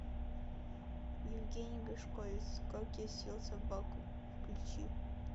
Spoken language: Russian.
евгений гришковец как я съел собаку включи